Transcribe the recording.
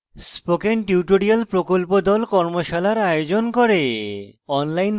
spoken tutorial প্রকল্প the কর্মশালার আয়োজন করে